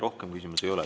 Rohkem küsimusi ei ole.